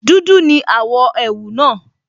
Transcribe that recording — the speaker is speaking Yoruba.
Dúdú ní àwọ̀ ẹ̀wù náà